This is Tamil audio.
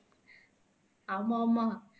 ஆமா ஆமா